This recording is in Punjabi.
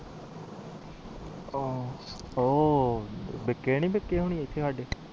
ਉਹ ਪੀਕੇ ਨੀ ਪੀਕੇ ਓਹਨੀ